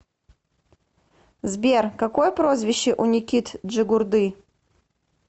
сбер какое прозвище у никит джигурды